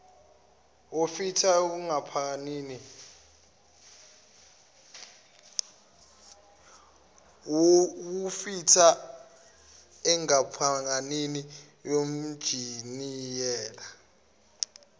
wufitha enkampanini yonjiniyela